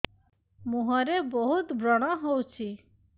ମୁଁହରେ ବହୁତ ବ୍ରଣ ହଉଛି